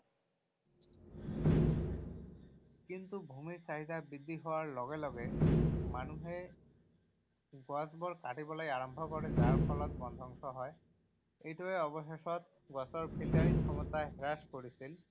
কিন্তু ভূমিৰ চাহিদা বৃদ্ধি হোৱাৰ লগে লগে, মানুহে গছ বোৰ কাটিবলৈ আৰম্ভ কৰে যাৰ ফলত বনধ্বংস হয়। এইটোৱে অৱশেষত গছৰ Filtering ক্ষমতা হ্ৰাস কৰিছিল।